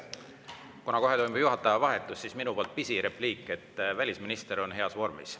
Kuna kohe tuleb juhataja vahetus, siis minu poolt pisirepliik: välisminister on heas vormis.